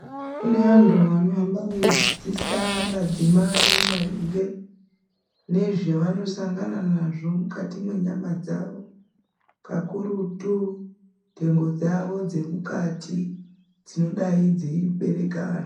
Kune antu anohamba eidzidzisa madzimai maringe nezvavanosangana nazvo mukati menyama dzawo kakurutu nhengo dzavo dzemukati dzinodai dzeibereka ana.